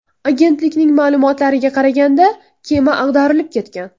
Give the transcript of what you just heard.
Agentlikning ma’lumotlariga qaraganda, kema ag‘darilib ketgan.